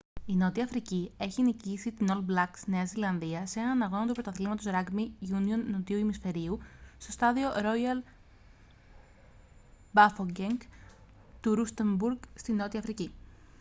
η νότια αφρική έχει νικήσει την all blacks νέα ζηλανδία σε έναν αγώνα του πρωταθλήματος ράγκμπι γιούνιον νότιου ημισφαιρίου στο στάδιο ρόγιαλ μπάφοκενγκ του ρούστενμπουργκ στη νότια αφρική